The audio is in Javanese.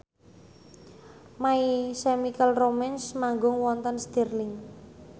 My Chemical Romance manggung wonten Stirling